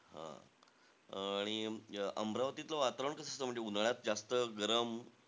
हां आणि अमरावतीतलं वातावरण कसं असतं? म्हणजे उन्हाळ्यात जास्त गरम,